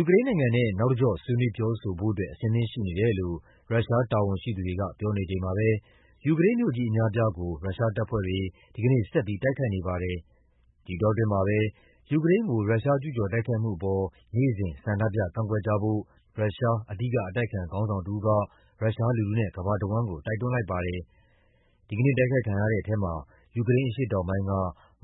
ူကရိန်းနိုင်ငံနဲ့ နောက်တကျော့ ဆွေးနွေးပြောဆိုဖို့ အဆင်သင့်ရှိနေတယ်လို့ ရုရှားတာဝန်ရှိသူတွေက ပြောနေချိန်မှာပဲ ယူကရိန်းမြို့ကြီးအများအပြားကို ရုရှားတပ်ဖွဲ့တွေ ဒီကနေ့ဆက်ပြီး တိုက်ခိုက်နေပါတယ်။ ဒီအတောအတွင်းမှာပဲ ယူကရိန်းကို ရုရှားကျူးကျော်တိုက်ခိုက်မှုအပေါ် နေ့စဉ် ဆန္ဒပြကန့်ကွက်ကြဖို့ ရုရှား အဓိကအတိုက်အခံ ခေါင်းဆောင်တယောက်က ရုရှားလူထုနဲ့ ကမ္ဘာတဝန်းကို တိုက်တွန်းလိုက်ပါတယ်။ ဒီကနေ့တိုက်ခိုက်ခံရတဲ့ထဲမှာ ယူကရိန်းအရှေ့တောင်ပိုင်းက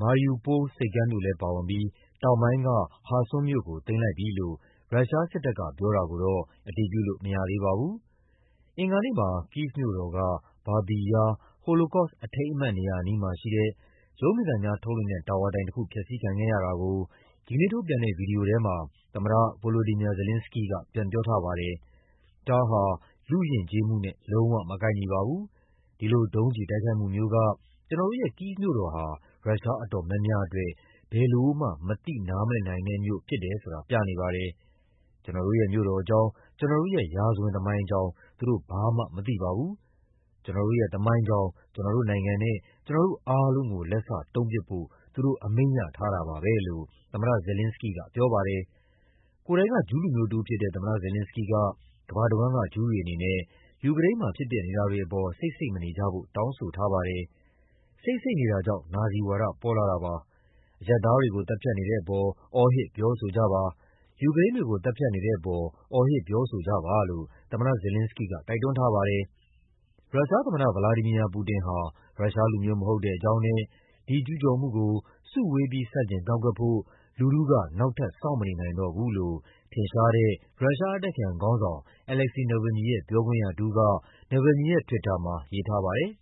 Mariupol ဆိပ်ကမ်းမြို့လည်းပါဝင်ပြီး တောင်ပိုင်းက Kherson မြို့ကို သိမ်းလိုက်ပြီလို့ ရုရှားစစ်တပ်က ပြောတာကိုတော့ အတည်ပြုလို့ မရသေးပါဘူး။ အင်္ဂါနေ့မှာ ကိဗ်မြို့တော်က Babi Yar ဟိုလိုကော့စ် အထိမ်းအမှတ်နေရာအနီးမှာရှိတဲ့ ရုပ်မြင်သံကြားထုတ်လွှင့်တဲ့ တာဝါတိုင်တခု ဖျက်ဆီးခံခဲ့ရတာကို ဒီကနေ့ ထုတ်ပြန်တဲ့ ဗွီဒီယိုထဲမှာ သမ္မတ Volodymyr Zelenskyy က ပြန်ပြောထားပါတယ်။ “ဒါဟာ လူ့ယဉ်ကျေးမှုနဲ့ လုံးဝမကိုက်ညီပါဘူး။ ဒီလို ဒုံးကျည်တိုက်ခိုက်မှုမျိုးက ကျနော်တို့ရဲ့ ကိဗ်မြို့တော်ဟာ ရုရှားအတော်များများအတွက် ဘယ်လိုမှ မသိနားမလည်နိုင်တဲ့မြို့ ဖြစ်တယ်ဆိုတာ ပြနေပါတယ်။ ကျနော်တို့ရဲ့ မြို့တော်အကြောင်း၊ ကျနော်တို့ရဲ့ ရာဇဝင်သမိုင်းအကြောင်း သူတို့ ဘာမှမသိပါဘူး။ ကျနော်တို့ရဲ့ သမိုင်းကြောင်း၊ ကျနော်တို့နိုင်ငံနဲ့ ကျနော်တို့အားလုံးကို လက်စတုံးပစ်ဖို့ သူတို့ အမိန့်ရထားတာပါပဲ” လို့ သမ္မတ Zelenskyy ကပြောပါတယ်။ ကိုယ်တိုင်က ဂျူးလူမျိုးတဦးဖြစ်တဲ့ သမ္မတ Zelenskyy က ကမ္ဘာတဝန်းက ဂျူးတွေအနေနဲ့ ယူကရိန်းမှာ ဖြစ်ပျက်နေတာတွေအပေါ် ဆိတ်ဆိတ်မနေကြဖို့ တောင်းဆိုထားပါတယ်။ “ဆိတ်ဆိတ်နေတာကြောင့် နာဇီဝါဒ ပေါ်လာတာပါ။ အရပ် သားတွေကို သတ်ဖြတ်နေတဲ့အပေါ် အော်ဟစ် ပြောဆိုကြပါ၊ ယူကရိန်းတွေကို သတ်ဖြတ်နေတဲ့အပေါ် အော်ဟစ်ပြောဆိုကြပါ” လို့ သမ္မတ Zelenskyy က တိုက်တွန်းထားပါတယ်။ ရုရှားသမ္မတ ဗလာဒီမီယာ ပူတင်ဟာ ရုရှားလူမျိုးမဟုတ်တဲ့အကြောင်းနဲ့ ဒီကျူးကျော်မှုကို စုဝေးပြီး ဆန့်ကျင်ကန့်ကွက်ဖို့ လူထုက နောက်ထပ် စောင့်မနေနိုင်တော့ဘူးလို့ ထင်ရှားတဲ့ ရုရှားအတိုက်အခံခေါင်းဆောင် Alexey Navalny ရဲ့ ပြောခွင့်ရတဦးက Navalny ရဲ့ Twitter မှာ ရေးထားပါတယ်။